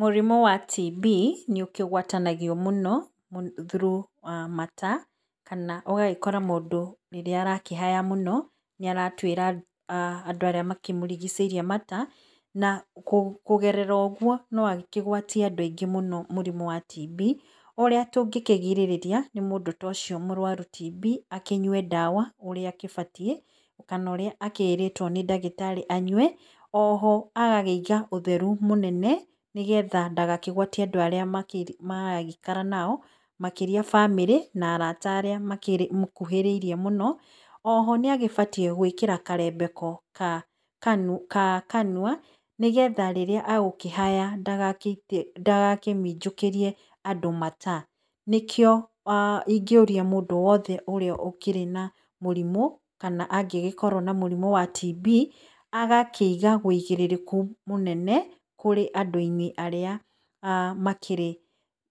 Mũrimũ wa TB, nĩũkĩgwatanagio mũno through mata, kana ũgagĩkora mũndũ rĩrĩa arakĩhaya mũno, nĩ aratuĩra andũ arĩa makĩmũrigĩcĩirie mata, na kũgerera ũguo, no akĩgwatie andũ aingĩ mũrimũ wa TB, ũrĩa tũngĩkĩrigĩrĩria, nĩ mũndũ ta ũcio mũrwaru TB, akĩnyue ndawa, ũrĩa agĩbatiĩ, kana ũrĩa akĩĩrĩtwo nĩ ndagĩtarĩ anyue, oho agakĩiga ũtheru mũnene, nĩgetha ndagakĩgũatie andũ arĩa maragĩikara nao, makĩria bamĩrĩ, na arata arĩa makĩmũkũhĩrĩirie mũno. O ho nĩ agĩbatiĩ gũĩkĩra karembeko gakanua, nĩgetha rĩrĩa egũkĩhaya, ndagakĩmĩnjũkĩrie andũ mata. Nĩkĩo ingĩũria mũndũ wothe ũrĩa ũkĩrĩ na mũrimũ, kana angĩgĩkorwo na mũrimũ wa TB, agakĩiga ũigĩrĩrĩku mũnene, kũrĩ andũ-inĩ arĩa makĩrĩ